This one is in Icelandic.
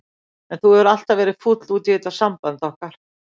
En þú hefur alltaf verið fúll út í þetta samband okkar.